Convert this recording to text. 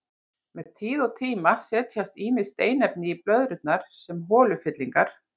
Með tíð og tíma setjast ýmis steinefni í blöðrurnar sem holufyllingar.